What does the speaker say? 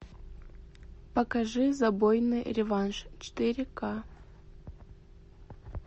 покажи забойный реванш четыре к